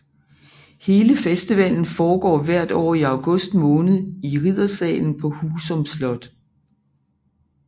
Hele festival foregår hvert år i august måned i riddersalen på Husum Slot